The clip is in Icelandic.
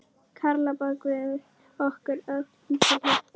Karla bað guð okkur öllum til hjálpar.